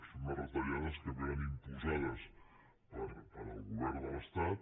són unes retallades que vénen imposades pel govern de l’estat